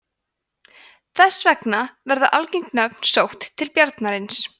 þess vegna verða algeng nöfn sótt til bjarnarins